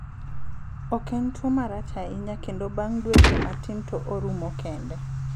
Ok en tuo marach ahinya kendo bang' dueche matin to orumo kende.